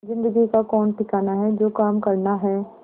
जिंदगी का कौन ठिकाना है जो काम करना है